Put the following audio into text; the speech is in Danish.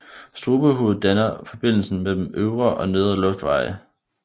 Strubehovedet danner forbindelsen mellem øvre og nedre luftveje